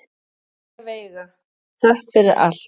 Kæra Veiga, þökk fyrir allt.